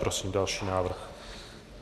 Prosím další návrh.